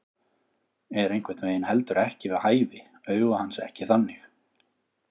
Er einhvern veginn heldur ekki við hæfi, augu hans ekki þannig.